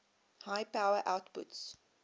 high power outputs